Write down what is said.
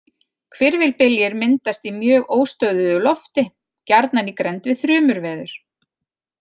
Hvirfilbyljir myndast í mjög óstöðugu lofti, gjarnan í grennd við þrumuveður.